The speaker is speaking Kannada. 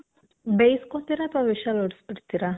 ಬೇಸ್ಕೊತೀರ ಅಥ್ವಾ whistle ಹೊಡಿಸ್ಬಿಡ್ತೀರ?